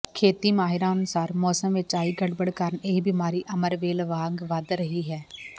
ਖੇਤੀ ਮਾਹਿਰਾਂ ਅਨੁਸਾਰ ਮੌਸਮ ਵਿਚ ਆਈ ਗੜਬੜ ਕਾਰਨ ਇਹ ਬਿਮਾਰੀ ਅਮਰਵੇਲ ਵਾਂਗ ਵੱਧ ਰਹੀ ਹੈ